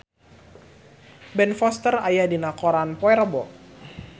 Ben Foster aya dina koran poe Rebo